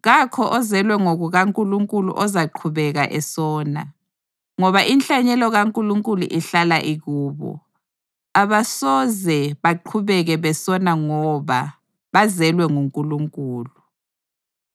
Kakho ozelwe ngokukaNkulunkulu ozaqhubeka esona, ngoba inhlanyelo kaNkulunkulu ihlala ikubo, abasoze baqhubeke besona ngoba bazelwe nguNkulunkulu.